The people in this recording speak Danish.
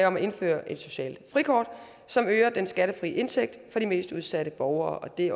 om at indføre et socialt frikort som øger den skattefri indtægt for de mest udsatte borgere og det